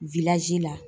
la